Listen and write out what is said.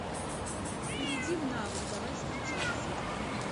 перейди в навык давай встречаться